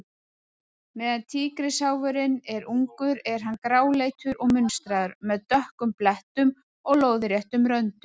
Meðan tígrisháfurinn er ungur er hann gráleitur og munstraður, með dökkum blettum og lóðréttum röndum.